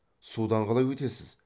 судан қалай өтесіз